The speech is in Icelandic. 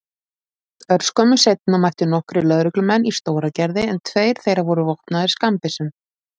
Örskömmu seinna mættu nokkrir lögreglumenn í Stóragerði en tveir þeirra voru vopnaðir skammbyssum.